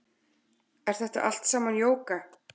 Er þetta allt saman jóga